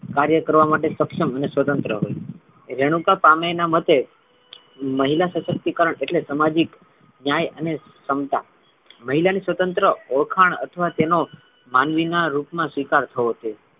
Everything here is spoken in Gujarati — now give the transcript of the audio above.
કાર્ય કરવા માટે સક્ષમ અને સ્વતંત્ર હોઈ રેણુકા પામે ના મતે મહિલા સશક્તિકરણ એટલે સામાજિક ન્યાય અને ક્ષમતા મહિલા ની સ્વતંત્ર ઓળખાણ અથવા તેનો માનવી ના રૂપ મા સ્વીકાર થવો જોઈએ.